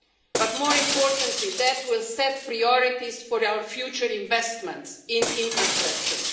But more importantly, that will set priorities for our future investments in infrastructure.